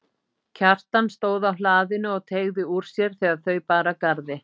Kjartan stóð á hlaðinu og teygði úr sér þegar þau bar að garði.